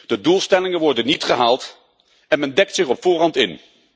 De doelstellingen worden niet gehaald en men dekt zich op voorhand in.